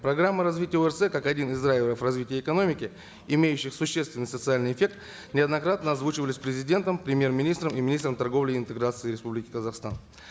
программа развития орц как один драйверов развития экономики имеющих существенных социальный эффект неоднократно озвучивались президентом премьер министром и министром торговли и интеграции республики казахстан